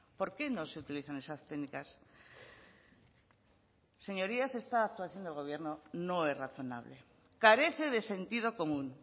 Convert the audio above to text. por qué no se utilizan esas técnicas señorías esta actuación del gobierno no es razonable carece de sentido común